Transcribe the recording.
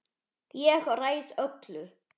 Ég ræð öllu.